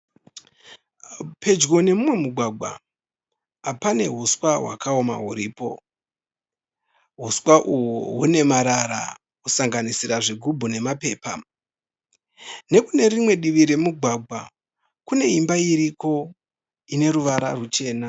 Pedyo nemumwe mugwagwa pane huswa hwakaoma huripo, huswa uhu hune marara kusanganisira zvigubhu nemapepa. Nekune rimwe divi remugwagwa kune imba iriko ine ruvara ruchena.